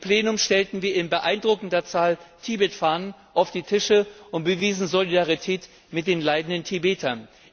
Im Plenum stellten wir in beeindruckender Zahl Tibetfahnen auf die Tische und bewiesen Solidarität mit den leidenden Tibetern.